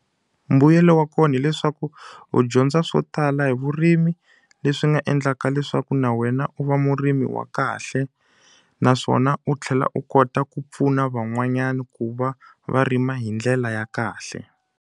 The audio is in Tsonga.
Mbuyelo wa kona hileswaku u dyondza swo tala hi vurimi, leswi nga endlaka leswaku na wena u va murimi wa kahle. Naswona u tlhela u kota ku pfuna van'wanyani ku va va rima hi ndlela ya kahle.